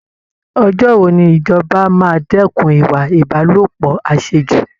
Ọjọ́ wo ni ìjọba máa dẹ́kun ìwà Ìbálòpọ̀ àṣejù!